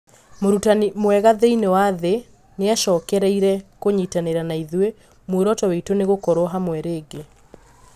Mũrũtani mwega thĩinĩ wa thĩ nĩacokereirĩe kũnyĩtanĩra naĩthũĩ, mũoroto witũ nĩ gũkorwo hamwe rĩngi